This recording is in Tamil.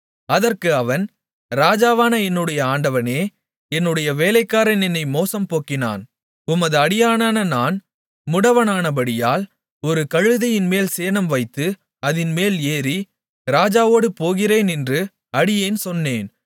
அதற்கு அவன் ராஜாவான என்னுடைய ஆண்டவனே என்னுடைய வேலைக்காரன் என்னை மோசம் போக்கினான் உமது அடியானான நான் முடவனானபடியால் ஒரு கழுதையின்மேல் சேணம்வைத்து அதின்மேல் ஏறி ராஜாவோடு போகிறேன் என்று அடியேன் சொன்னேன்